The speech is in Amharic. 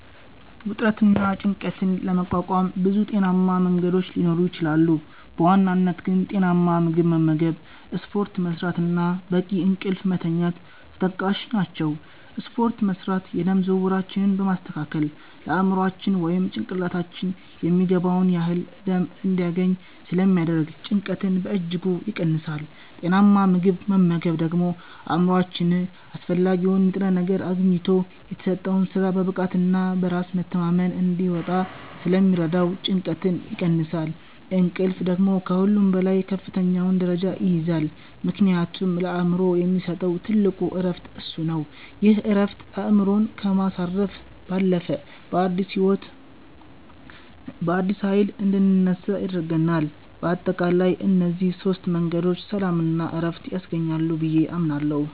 ውጥረትንና ጭንቀትን ለመቋቋም ብዙ ጤናማ መንገዶች ሊኖሩ ይችላሉ፤ በዋናነት ግን ጤናማ ምግብ መመገብ፣ ስፖርት መስራት እና በቂ እንቅልፍ መተኛት ተጠቃሽ ናቸው። ስፖርት መስራት የደም ዝውውራችንን በማስተካከል ለአእምሯችን (ጭንቅላታችን) የሚገባውን ያህል ደም እንዲያገኝ ስለሚያደርግ ጭንቀትን በእጅጉ ይቀንሳል። ጤናማ ምግብ መመገብ ደግሞ አእምሯችን አስፈላጊውን ንጥረ ነገር አግኝቶ የተሰጠውን ሥራ በብቃትና በራስ መተማመን እንዲወጣ ስለሚረዳው ጭንቀትን ይቀንሳል። እንቅልፍ ደግሞ ከሁሉም በላይ ከፍተኛውን ደረጃ ይይዛል፤ ምክንያቱም ለአእምሮ የሚሰጠው ትልቁ ዕረፍት እሱ ነው። ይህ ዕረፍት አእምሮን ከማሳረፍ ባለፈ፣ በአዲስ ኃይል እንድንነሳ ያደርገናል። በአጠቃላይ እነዚህ ሦስት መንገዶች ሰላምና ዕረፍት ያስገኛሉ ብዬ አምናለሁ።